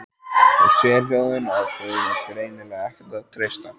Og sérhljóðin, á þau var greinilega ekkert að treysta.